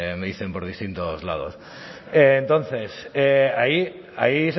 me dicen por distintos lados entonces ahí